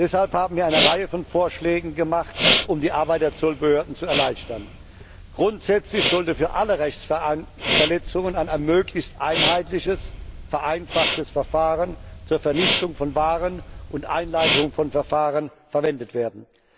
Deshalb haben wir eine Reihe von Vorschlägen gemacht, um die Arbeit der Zollbehörden zu erleichtern. Grundsätzlich sollte für alle Rechtsverletzungen ein möglichst einheitliches, vereinfachtes Verfahren zur Vernichtung von Waren und Einleitung von Verfahren verwendet werden.